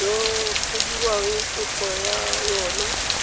go dirwang kopo ya yona